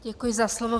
Děkuji za slovo.